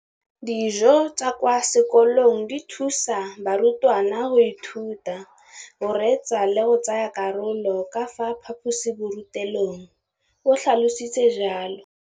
Dijo tsa kwa sekolong dithusa barutwana go ithuta, go reetsa le go tsaya karolo ka fa phaposiborutelong, o tlhalositse jalo.